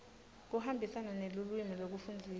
kuhambisana nelulwimi lekufundzisa